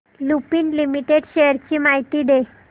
Lupin limited shares ची माहिती दे